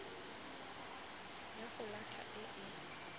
ya go latlha e e